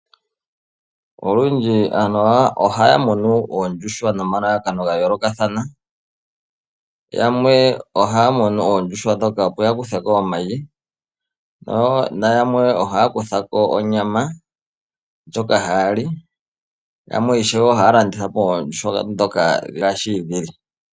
Olundji aantu ohaya munu oondjuhwa nomalalakano ga yoolokathana. Yamwe ohaya munu oondjuhwa, opo ya kuthe ko omayi, yamwe ohaya kutha ko onyama ndjoka haya li, yo yamwe ohaya landitha oondjuhwa othika.